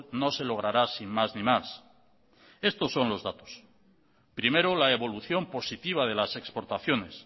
no se logrará sin más ni más estos son los datos primero la evolución positiva de las exportaciones